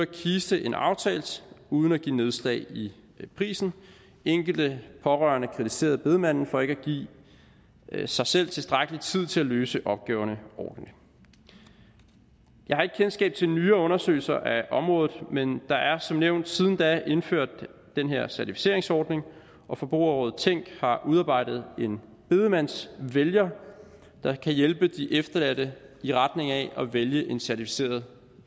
kiste end aftalt uden at give nedslag i prisen enkelte pårørende kritiserede bedemanden for ikke at give sig selv tilstrækkelig tid til at løse opgaverne ordentligt jeg har ikke kendskab til nyere undersøgelser af området men der er som nævnt siden da indført den her certificeringsordning og forbrugerrådet tænk har udarbejdet en bedemandsvælger der kan hjælpe de efterladte i retning af at vælge en certificeret